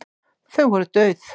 Þau voru dauð.